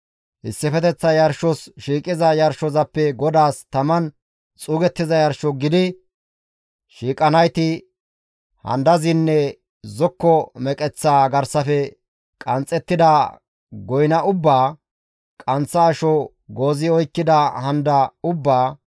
Issifeteththa yarshos shiiqiza yarshozappe GODAAS taman xuugettiza yarsho gidi shiiqanayti handazanne zokko meqeththa garsafe qanxxettida goyna ubbaa, qanththa asho goozi oykkida handa ubbaa,